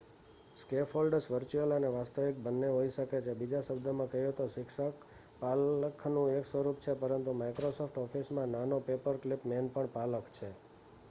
scaffolds virtual અને વાસ્તવિક બંને હોઈ શકે છે બીજા શબ્દોમાં કહીએ તો શિક્ષક પાલખનું એક સ્વરૂપ છે પરંતુ માઇક્રોસોફ્ટ ઓફિસમાં નાનો પેપરક્લિપ મેન પણ પાલખ છે